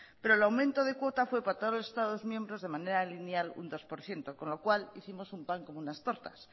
pero el aumento de cuota fue para todos los estados miembros de manera lineal un dos por ciento con lo cual hicimos un pan con unas tortas